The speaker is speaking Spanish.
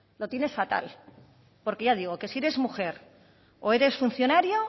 lo tienes fatal porque ya digo que si eres mujer o eres funcionario